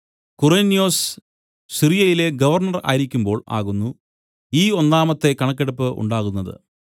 Quirinius സിറിയയിലെ governor ആയിരിക്കുമ്പോൾ ആകുന്നു ഈ ഒന്നാമത്തെ കണക്കെടുപ്പ് ഉണ്ടാകുന്നത്